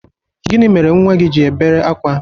Gịnị mere nnwa gị ji èbēré akwa?